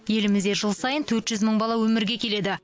елімізде жыл сайын төрт жүз мың бала өмірге келеді